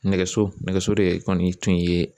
Nɛgɛso nɛgɛso de kɔni tun ye